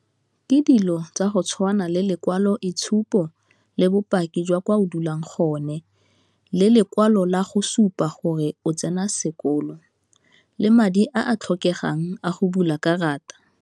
Ke dilo tsa go tshwana le lekwalo itshupo le bopaki jwa kwa o dulang gone, le lekwalo la go supa gore o tsena sekolo, le madi a a tlhokegang a go bula karata.